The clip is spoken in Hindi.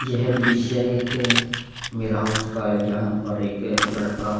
यह दृश्य एक वेयरहाउस का है जहाँ पर एक लड़का --